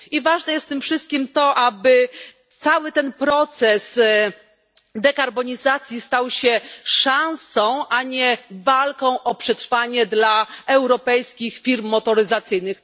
I ważne jest w tym wszystkim to, aby cały ten proces dekarbonizacji stał się szansą, a nie walką o przetrwanie dla europejskich firm motoryzacyjnych.